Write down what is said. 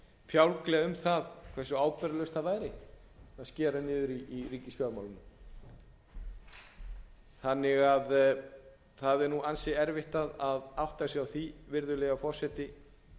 fjálglega um það hversu ábyrgðarlaust það væri að skera niður í ríkisfjármálum það er ansi erfitt að átta sig á því virðulegi forseti